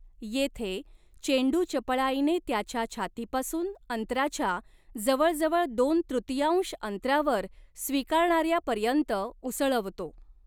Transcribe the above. येथे, चेंडू चपळाईने त्याच्या छातीपासून अंतराच्या जवळजवळ दोन तृतीयांश अंतरावर स्वीकारणार्यापर्यंत उसळवतो.